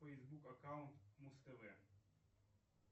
фейсбук аккаунт муз тв